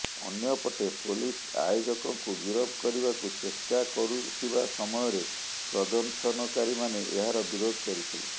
ଅନ୍ୟପଟେ ପୋଲିସ ଆୟୋଜକଙ୍କୁ ଗିରଫ କରିବାକୁ ଚେଷ୍ଟା କରୁଥିବା ସମୟରେ ପ୍ରଦର୍ଶନକାରୀମାନେ ଏହାର ବିରୋଧ କରିଥିଲେ